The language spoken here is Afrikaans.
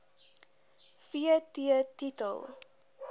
v t titel